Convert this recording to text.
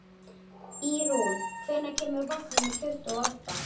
Ýrún, hvenær kemur vagn númer tuttugu og átta?